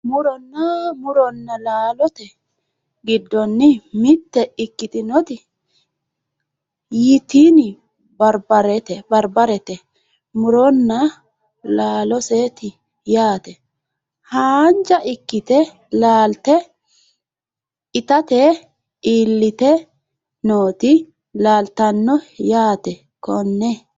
muronna laalote giddonni mitte ikkitinoti ytini barbarete muronna laaloseeti yaate. haanja ikkite laalte itate iillite nooti leeltanno yaate konne .